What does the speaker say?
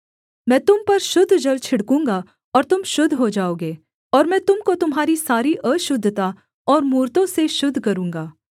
मैं तुम पर शुद्ध जल छिड़कूँगा और तुम शुद्ध हो जाओगे और मैं तुम को तुम्हारी सारी अशुद्धता और मूरतों से शुद्ध करूँगा